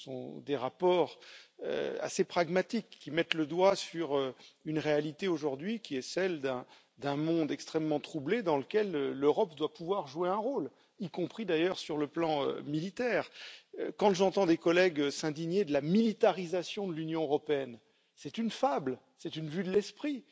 Ce sont des rapports assez pragmatiques qui mettent le doigt sur une réalité, qui est celle d'un monde extrêmement troublé, dans lequel l'Europe doit pouvoir jouer un rôle, y compris d'ailleurs sur le plan militaire. J'entends des collègues s'indigner de la militarisation de l'Union européenne c'est une fable, c'est une vue de l'esprit!